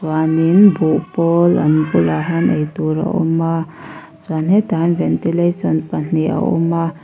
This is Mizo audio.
chuanin buhpawl an bulah hian ei tur a awm a chuan hetah hian ventilation pahnih a awm a.